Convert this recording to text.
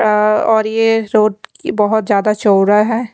अ और ये रोड की बहुत ज्यादा चौरा है।